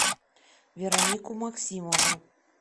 веронику максимову